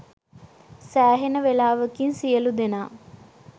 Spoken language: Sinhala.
සෑහෙන වෙලාවකින් සියලූ දෙනා